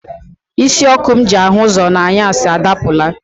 Isi ọkụ m ji ahụ ụzọ n'anyasị adapụla.